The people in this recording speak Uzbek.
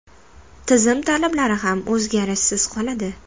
Tizim talablari ham o‘zgarishsiz qoladi.